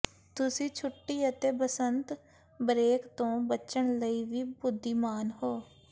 ਤੁਸੀਂ ਛੁੱਟੀ ਅਤੇ ਬਸੰਤ ਬਰੇਕ ਤੋਂ ਬਚਣ ਲਈ ਵੀ ਬੁੱਧੀਮਾਨ ਹੋ